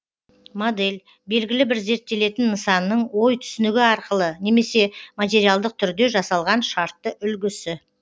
модель белгілі бір зерттелетін нысанның ой түсінігі арқылы немесе материалдық түрде жасалған шартты үлгісі